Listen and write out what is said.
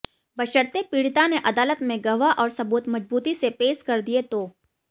बशर्ते पीडि़ता ने अदालत में गवाह और सबूत मजबूती से पेश कर दिए तो